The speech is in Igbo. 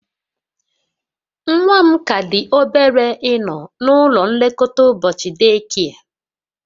Nwa m ka dị obere ịnọ n'ụlọ nlekọta ụbọchị day care